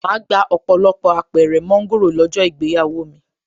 Màá gba ọ̀pọ̀lọpọ̀ Apẹ̀rẹ̀ mọ́ńgòrò lọ́jọ́ ìgbéyàwó mi